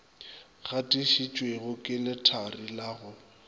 gatišitšwego ke lethari la go